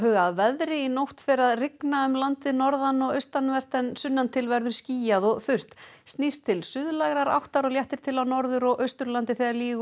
að veðri í nótt fer að rigna um landið norðan og austanvert en sunnan til verður skýjað og þurrt snýst til áttar og léttir til á Norður og Austurlandi þegar líður